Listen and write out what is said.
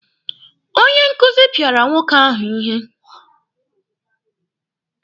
Onye nkụzi pịara nwoke ahụ ihe.